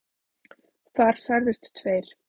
Þar særðust tveir